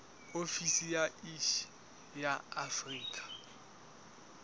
ofisi ya iss ya afrika